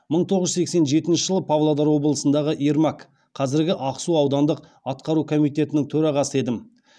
мың тоғыз жүз сексен жетінші жылы павлодар облысындағы ермак аудандық атқару комитетінің төрағасы едім